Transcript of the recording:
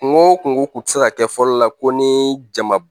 Kungo o kungo kun ti se ka kɛ fɔlɔ la ko nii jamu